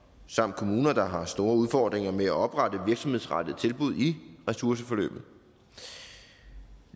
samt kommuner der har store udfordringer med at oprette virksomhedsrettede tilbud i ressourceforløbet